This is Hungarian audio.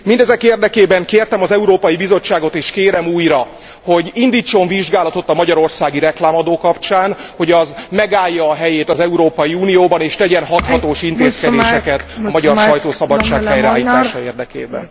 Mindezek érdekében kértem az Európai Bizottságot, és kérem újra, hogy indítson vizsgálatot a magyarországi reklámadó kapcsán, hogy az megállja a helyét az Európai Unióban és tegyen hathatós intézkedéseket a magyar sajtószabadság helyreállítása érdekében.